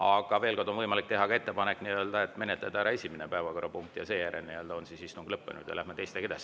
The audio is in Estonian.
Aga veel kord: on võimalik teha ka ettepanek menetleda ära esimene päevakorrapunkt, seejärel on istung lõppenud ja me läheme teiste edasi.